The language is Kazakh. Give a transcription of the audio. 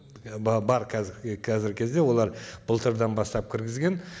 і бар қазіргі қазіргі кезде олар былтырдан бастап кіргізген